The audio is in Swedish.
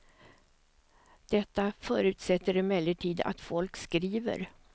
Detta förutsätter emellertid att folk skriver.